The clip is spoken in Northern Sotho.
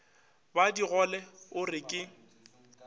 ba digole o re ke